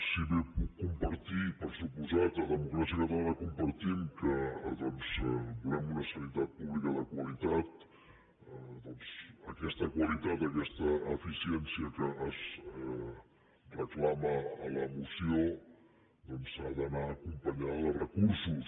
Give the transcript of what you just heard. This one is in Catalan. si bé puc compartir per des·comptat a democràcia catalana ho compartim que volem una sanitat pública de qualitat doncs aquesta qualitat aquesta eficiència que es reclama a la moció ha d’anar acompanyada de recursos